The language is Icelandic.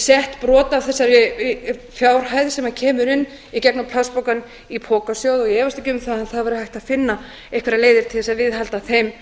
sett brot af þessari fjárhæð sem kemur inn í gegnum plastpokana í pokasjóð og ég efast ekki um að það væri hægt að finna einhverjar leiðir til þess að viðhalda þeim